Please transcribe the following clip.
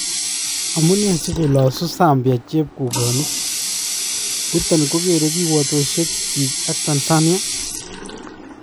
Amunee sikolaasu Zambia chepkukonik , yuton kokeree kiwotosyeek chik ak Tanzania?